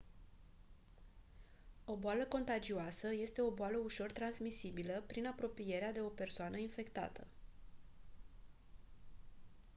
o boală contagioasă este o boală ușor transmisibilă prin apropierea de o persoană infectată